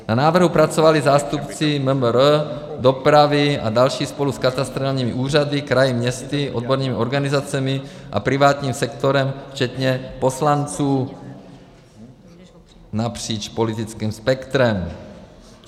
Na návrhu pracovali zástupci MMR, dopravy a další spolu s katastrálními úřady, kraji, městy, odbornými organizacemi a privátním sektorem, včetně poslanců napříč politickým spektrem.